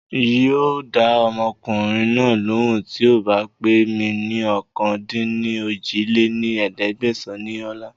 Ń yìí ó dáa ọmọkùnrin náà lóhùn tíì ó bá pè mí ní ọ̀kan-dín-ní-ojì lé ní ẹ̀ẹ́dẹ́gbẹ́sán ni ọ̀la